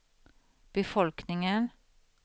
befolkningen